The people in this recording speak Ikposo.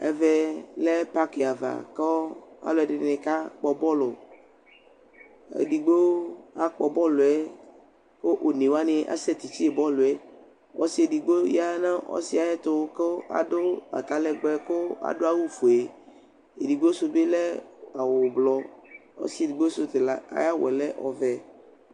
Ɛvɛ lɛ pakɩ ava kʋ alʋ ɛdɩnɩ kakpɔ bɔlʋ Edigbo akpɔ bɔlʋ yɛ kʋ one wani asɛtifiye bɔlʋ yɛ Ɔsɩ edigbo ya nʋ ɔsɩ yɛ ayʋ ɛtʋ kʋ adu atalɛgbɛ kʋ adu awufue Edigbo sʋ bɩ lɛ ʋblɔ Ɔsɩ edigbo sʋ ta ayʋ awu yɛ lɛ ɔvɛ